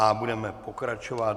A budeme pokračovat.